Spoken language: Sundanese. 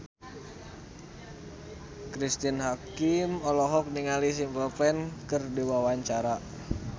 Cristine Hakim olohok ningali Simple Plan keur diwawancara